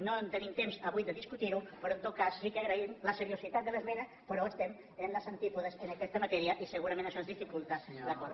no tenim temps avui de discutir ho però en tot cas sí que agraïm la seriositat de l’esmena però estem en els antípodes en aquesta matèria i segurament això ens dificulta l’acord